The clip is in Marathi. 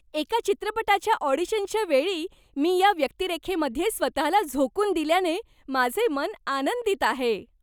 एका चित्रपटाच्या ऑडिशनच्या वेळी मी या व्यक्तिरेखेमध्ये स्वतःला झोकून दिल्याने माझे मन आनंदित आहे.